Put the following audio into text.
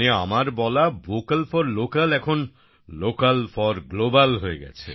মানে আমার বলা ভোকাল ফর লোকাল এখন লোকাল ফর গ্লোবাল হয়ে গেছে